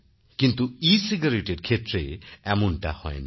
কিন্তু ecigaretteএর ক্ষেত্রে এমনটা হয়না